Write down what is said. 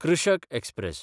कृषक एक्सप्रॅस